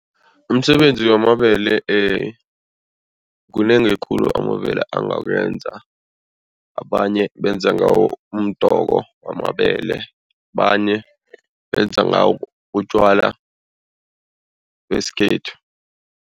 Umsebenzi wamabele kunengi khulu amabele angakwenza abanye benze ngawo umdoko wamabele abanye benza ngawo utjwala besikhethu.